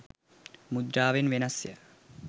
මුද්‍රාවෙන් වෙනස් ය.